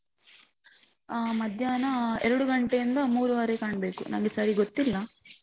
ಆ ಮಧ್ಯಾಹ್ನ ಎರಡು ಗಂಟೆಯಿಂದ ಮೂರುವರೆ ಕಾಣ್ಬೇಕು, ನಂಗೆ ಸರಿ ಗೊತ್ತಿಲ್ಲ.